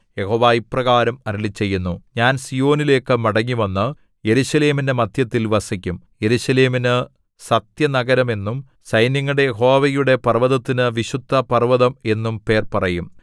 യഹോവ ഇപ്രകാരം അരുളിച്ചെയ്യുന്നു ഞാൻ സീയോനിലേക്കു മടങ്ങിവന്നു യെരൂശലേമിന്റെ മദ്ധ്യത്തിൽ വസിക്കും യെരൂശലേമിനു സത്യനഗരം എന്നും സൈന്യങ്ങളുടെ യഹോവയുടെ പർവ്വതത്തിനു വിശുദ്ധപർവ്വതം എന്നും പേർ പറയും